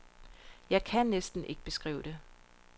Jeg kan næsten ikke beskrive det.